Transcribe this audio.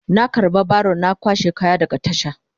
Na karba baron na kwashe kaya daga tasha.